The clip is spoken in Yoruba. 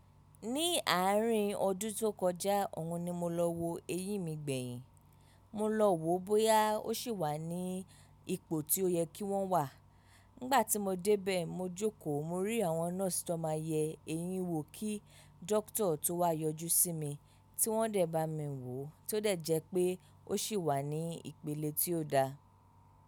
Ní àárín ọdún tó kọjá, òhun ni mo lọ wo eyín mi gbẹ̀yin. Mo lọ wo bóyá ó ṣì wà ní ipò tí ó yẹ kí wọ́n wà. Nígbà tí mo dé bẹ́ẹ̀, mo jókòó mo rí àwọn nọ́ọ̀sì tó máa ń yẹ́ eyín wo kí dókítà tó wá yọjú sí mi. Tí wọ́n dẹ̀ bá mi wòó, ó to de jẹ́ pé ó ṣì wà ní ìpele tí ó da.